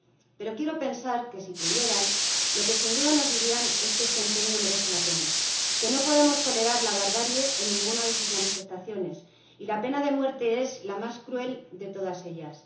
Pero quiero pensar que, si pudieran, lo que sin duda nos dirían es que este empeño merece la pena, que no podemos tolerar la barbarie en ninguna de sus manifestaciones y la pena de muerte es la más cruel de todas ellas.